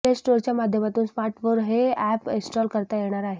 play स्टोअरच्या माध्यमातून स्मार्टफोनवर हे अॅप इन्स्टॉल करता येणार आहे